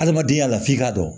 Adamadenya la f'i k'a dɔn